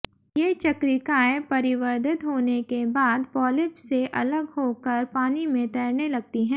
ये चक्रिकाएँ परिवर्धित होने के बाद पॉलिप से अलग होकर पानी में तैरने लगती हैं